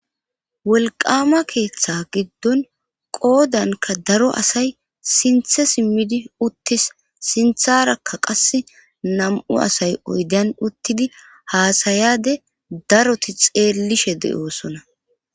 Wolqama keeththa giddon qoodanka daro asay sinthe simmidi uttis sintharakka qas nam7u asay oydan uttidi haasayade daroti xeellishe de'oosona.